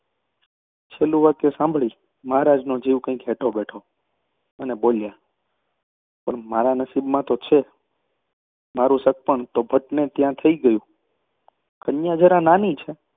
છેલ્લું વાક્ય સાંભળી મહારાજનો જીવ કાંઈક હેઠો બેઠો અને બોલ્યા પણ મારા નસીબમાં તો છે. મારું સગપણ તો ભટને ત્યાં થઈ ગયું છે, પણ કન્યા જરા નાની છે